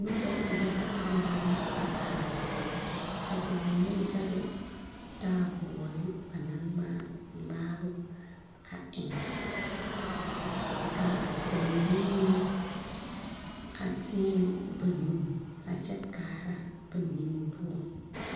Noba yaga yaga la a are ka ba mine zage taaboore ba naŋ ŋmaa ŋmaabo a eŋ ka ba mine meŋ a teɛnɛ ba nu a kyɛ kaara ba nige poɔ.